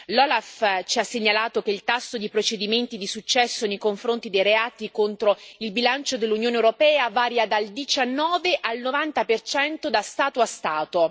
L'OLAF ci ha segnalato che il tasso di procedimenti di successo nei confronti dei reati contro il bilancio dell'Unione europea varia dal 19 al 90 da Stato a Stato.